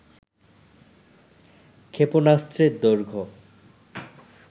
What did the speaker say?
ক্ষেপণাস্ত্রের দৈর্ঘ্য